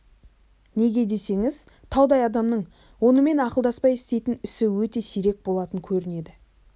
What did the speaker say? неге десеңіз таудай адамның онымен ақылдаспай істейтін ісі өте сирек болатын көрінеді